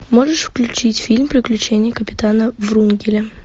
можешь включить фильм приключения капитана врунгеля